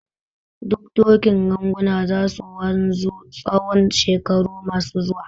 Doke doken ganguna za su wanzu tsawon shekaru masu zuwa.